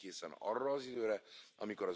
ne nous regarde pas.